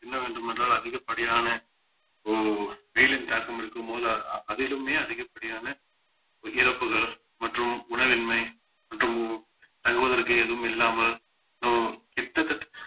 என்ன வேண்டுமென்றால் அதிகப்படியான ஓ~ வெயிலின் தாக்கம் இருக்கும்போது அ~ அதிலுமே அதிகப்படியான இறப்புகள் மற்றும் உணவின்மை மற்றும் தங்குவதற்கு எதுவும் இல்லாமல் எதோ கிட்டத்தட்ட